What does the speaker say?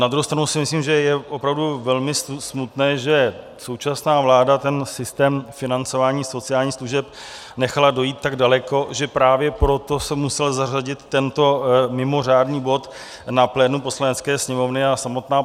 Na druhou stranu si myslím, že je opravdu velmi smutné, že současná vláda ten systém financování sociálních služeb nechala dojít tak daleko, že právě proto se musel zařadit tento mimořádný bod na plénum Poslanecké sněmovny a samotná